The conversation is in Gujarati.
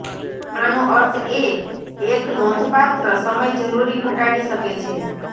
આનો અર્થ એ એક નોંધપાત્ર સમય જરૂરી ઘટાડી શકે છે